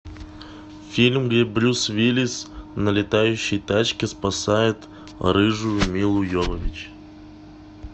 фильм где брюс уиллис на летающей тачке спасает рыжую милу йовович